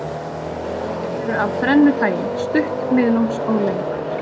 Þau eru af þrennu tagi, stutt, miðlungs og löng.